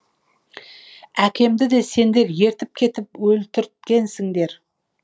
әкемді де сендер ертіп кетіп өлтірткенсіңдер